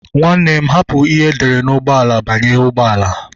Nwanne m hapụ ihe edere n'ahụ ụgbọala banye ụgbọala